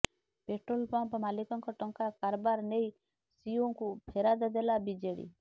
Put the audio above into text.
petrol pump ମାଲିକଙ୍କ ଟଙ୍କା କାରବାର ନେଇ ସିଇଓଙ୍କୁ ଫେରାଦ ଦେଲା ବିଜେଡି